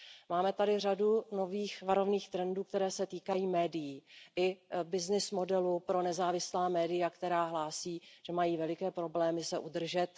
Máme tady řadu nových varovných trendů, které se týkají médií i byznys modelu pro nezávislá média, která hlásí, že mají velké problémy se udržet.